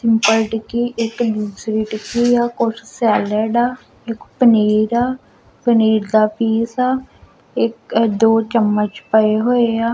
Bread ਦੀ ਇਕ ਦੂਸਰੀ ਟਿੱਕੀ ਆ ਔਰ ਸੇਲਡ ਆ ਇਕ ਪਨੀਰ ਆ ਪਨੀਰ ਦਾ ਪੀਸ ਆ ਇਕ ਦੋ ਚਮਚ ਪਏ ਹੋਏ ਆ।